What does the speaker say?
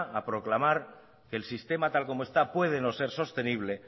a proclamar que el sistema tal como está puede no ser sostenible